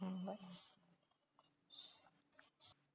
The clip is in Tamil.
ஹம் bye